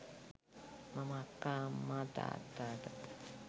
මම අක්කා අම්මා තාත්තාට